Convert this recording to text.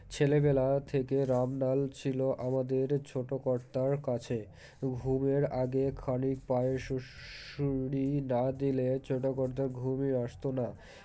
ছেলেবেলা থেকে রামলাল ছিল আমাদের ছোটো কর্তার কাছে ঘুমের আগে ক্ষানিক পায়ে সুর, সুরি না দিলে ছোটো কর্তার ঘুমই আসত না